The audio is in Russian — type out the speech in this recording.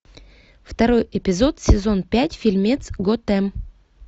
второй эпизод сезон пять фильмец готэм